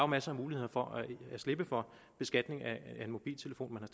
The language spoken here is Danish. masser af muligheder for at slippe for beskatning af en mobiltelefon